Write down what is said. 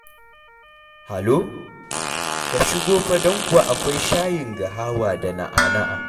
Halo, ka shigo fa don kuwa akwai shayin gahawa da na'ana'a.